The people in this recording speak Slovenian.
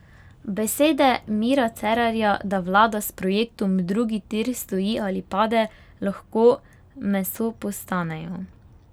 Besede Mira Cerarja, da vlada s projektom drugi tir stoji ali pade, lahko meso postanejo.